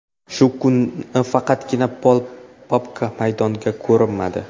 Shu kuni faqatgina Pol Pogba maydonda ko‘rinmadi.